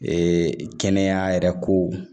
Ee kɛnɛya yɛrɛ kow